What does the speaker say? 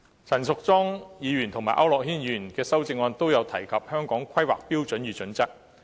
陳淑莊議員和區諾軒議員的修正案皆提及《香港規劃標準與準則》。